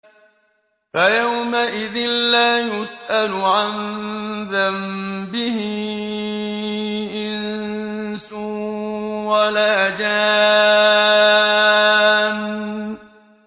فَيَوْمَئِذٍ لَّا يُسْأَلُ عَن ذَنبِهِ إِنسٌ وَلَا جَانٌّ